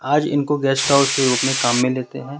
आज इनको guest house के रूप में काम में लेते हैं।